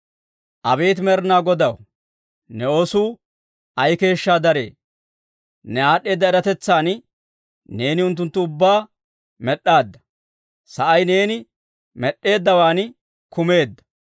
Abeet Med'inaa Godaw, ne oosuu ay keeshshaa daree! Ne aad'd'eeda eratetsan neeni unttunttu ubbaa med'd'aadda; sa'ay neeni med'd'eeddawan kumeedda.